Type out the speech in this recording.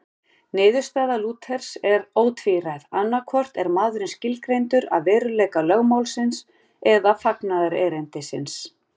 Niðurstaða Lúthers er ótvíræð, annaðhvort er maðurinn skilgreindur af veruleika lögmálsins eða fagnaðarerindisins.